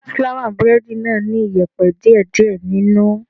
Fúláwà búrẹ́dì náà ní iyẹ̀pẹ̀ díè díè nínú.